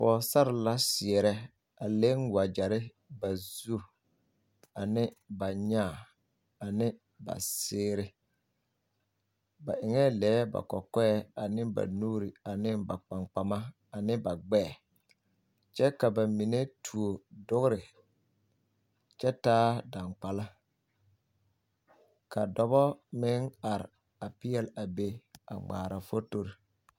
Pɔgesare la seɛrɛ a meŋ wagyɛre ba zu ane ba nyaa ane ba seere ba eŋɛɛ lɛɛ ba kɔkɔɛ ane ba nuuri ane ba kpankpama ane ba gbɛɛ kyɛ ka ba mine tuo dogre kyɛ taa dangbala ka dɔba meŋ are a peɛle a be a ŋmaara fotori.